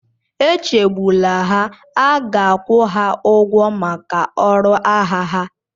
Echegbula ha, a ga-akwụ ha ụgwọ maka ọrụ agha ha.